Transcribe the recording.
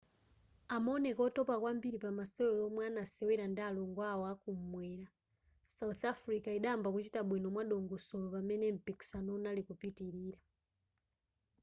amaoneka otopa kwambiri pamasewero omwe anasewera ndi alongo awo akumwera south africa idayamba kuchita bwino mwadongosolo pamene mpikisano unali kupitilira